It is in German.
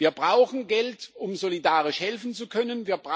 Wir brauchen Geld, um solidarisch helfen zu können.